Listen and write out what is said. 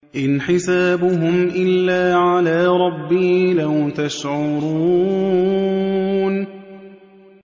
إِنْ حِسَابُهُمْ إِلَّا عَلَىٰ رَبِّي ۖ لَوْ تَشْعُرُونَ